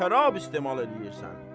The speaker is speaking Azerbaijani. Sən şərab istehmal eləyirsən.